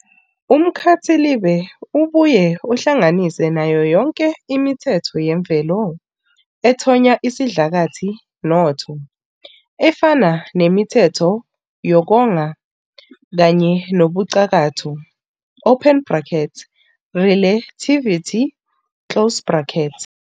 Umkhathilibe ubuye uhlanganise nayo yonke imithetho yemvelo ethonya isidlakathi noTho, efana nemithetho yokonga, kanye nobucakatho "relativity".